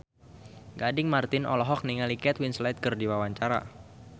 Gading Marten olohok ningali Kate Winslet keur diwawancara